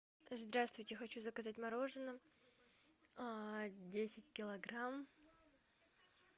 здравствуйте хочу заказать мороженое десять килограмм